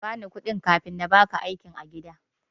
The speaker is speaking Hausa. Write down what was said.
Kabani kuɗi kafin namaka aiki a gida.